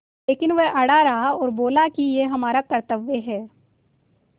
लेकिन वह अड़ा रहा और बोला कि यह हमारा कर्त्तव्य है